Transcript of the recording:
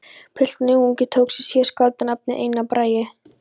Pilturinn ungi tók sér síðar skáldanafnið Einar Bragi.